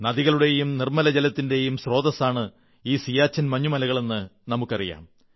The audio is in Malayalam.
നദികളുടെയും നിർമ്മലജലത്തിന്റെയും സ്രോതസ്സാണ് ഈ സിയാചിൻ മഞ്ഞുമലകളെന്ന് നമുക്കറിയാം